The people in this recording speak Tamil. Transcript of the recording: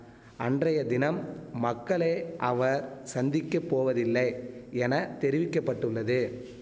அன்றைய தினம் மக்களை அவர் சந்திக்க போவதில்லை என தெரிவிக்க பட்டுள்ளது